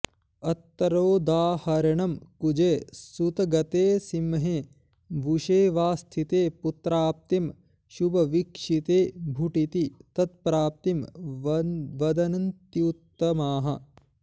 अत्रोदाहरणं कुजे सुतगते सिंहे बुषे वा स्थिते पुत्राप्तिं शुभवीक्षिते भुटिति तत्प्राप्तिं वदन्त्युत्तमाः